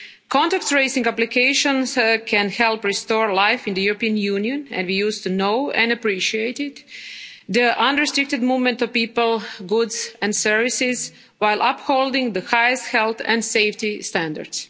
Contact tracing applications can help restore life in the European Union as we used to know and appreciate it the unrestricted movement of people, goods and services while upholding the highest health and safety standards.